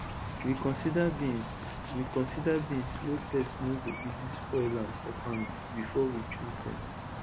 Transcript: we consider beans we consider beans wey pest no go easy spoil am for farm before we choose dem